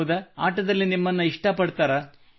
ಹೌದಾ ಆಟದಲ್ಲಿ ನಿಮ್ಮನ್ನು ಇಷ್ಟ ಪಡುತ್ತಾರಾ